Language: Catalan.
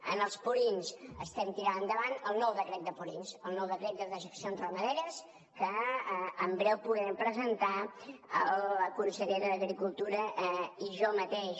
en els purins estem tirant endavant el nou decret de purins el nou decret de dejeccions ramaderes que en breu podrem presentar la consellera d’agricultura i jo mateix